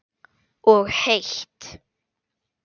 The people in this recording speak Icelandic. Og heitt.